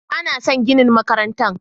Ba na son ginin makarantar